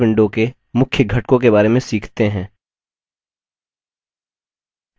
अब चलिए calc window के मुख्य घटकों के बारे में सीखते हैं